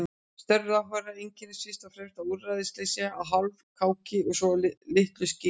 Störf ráðherranna einkennast fyrst og fremst af úrræðaleysi og hálfkáki sem litlu skila.